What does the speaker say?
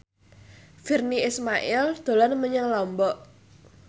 Virnie Ismail dolan menyang Lombok